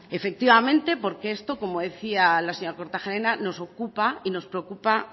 efectivamente porque esto como decía la señora kortajarena nos ocupa y nos preocupa